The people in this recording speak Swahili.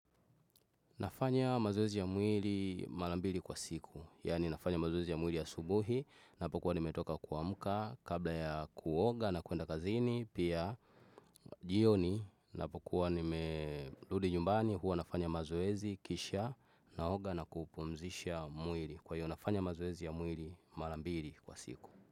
Nafanya mazoezi ya muiri malambiri kwa siku, yani nafanya mazoezi ya muiri ya asubuhi napokuwa nimetoka kwamuka kabla ya kuoga na kuenda kazini, pia jioni napokuwa nimerudi nyumbani huwa nafanya mazoezi kisha naoga na kupumzisha muiri kwa hiyo nafanya mazoezi ya muiri malambiri kwa siku.